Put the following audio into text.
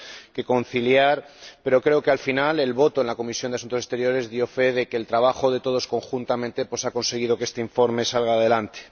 que conciliar, pero creo que al final la votación en la Comisión de Asuntos Exteriores dio fe de que el trabajo de todos conjuntamente ha conseguido que este informe salga adelante.